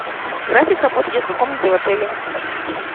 график работы детской комнаты в отеле